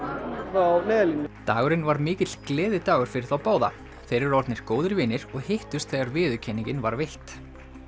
frá Neyðarlínunni dagurinn var mikill gleðidagur fyrir þá báða þeir eru orðnir góðir vinir og hittust þegar viðurkenningin var veitt